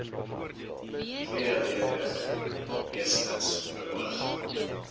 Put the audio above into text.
tweeledig eerstens beoog